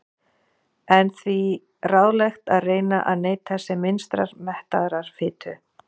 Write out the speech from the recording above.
Er því ráðlegt að reyna að neyta sem minnstrar mettaðrar fitu.